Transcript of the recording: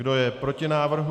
Kdo je proti návrhu?